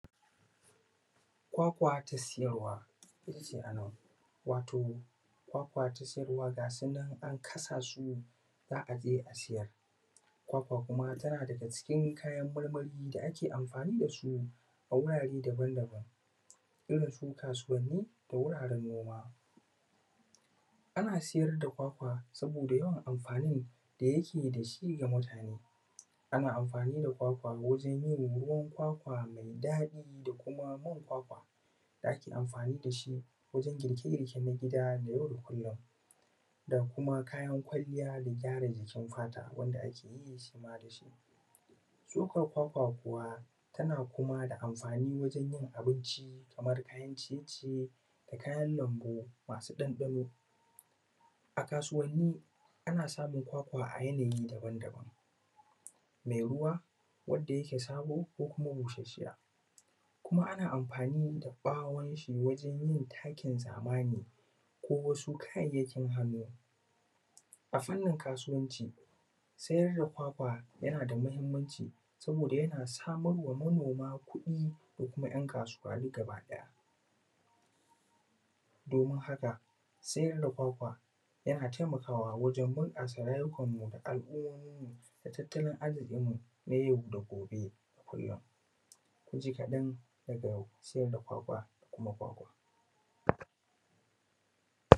Kwakwa ta siyarwa wato kwakwa ta siyarwa gasu nan an kasa su za a je a siyatar kwakwa, kuma tana daga cikin kayan marmari da ake anfani da su a wurare daban-daban, irin su kasuwanni da wurare noma. Ana siyar da kwakwa domin yawan anfani da yake da shi ga mutane, ana anfani da kwakwa wajen yin ruwan kwakwa daɗi da kuma man kwakwa da ake anfani da shi wajen girke-girke na gida na yau da kullum, da kuma kayan kwaliya da kyara jikin fata wanda ake yi shima da shi. Shukan kwakwa, kuwa ana anfani da shi wajen yin abinci da kuma kayan ciye-ciye da kayan lambu masu ɗanɗano a kasuwanni. Ana samu kwakwa a yanayi daban-daban mɛ ruwa, wadda yake sabo, ko kuma bushashiya, kuma ana anfani da bawon shi wajen yin takin zamani ko wasu kayyakin ado a fannin kasuwanci, siyar da kwakwa yana daga matuƙar muhimmanci, domin yana samar ma manoma kuɗi, da kuma ‘yan kasuwa, gabaɗaya ɗorin haka, siyar da kwakwa yana taimakawa wajen bunƙasa rayuwar mu da al'umomin mu, da tattaolin arzikin mu na yau da kullum, ka ji kaɗan daraja sabno siyar da kwakwa.